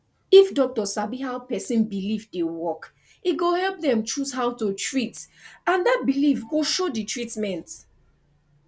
if doctor sabi how person believe dey work e go help dem choose how to treat and that belief go show the treatment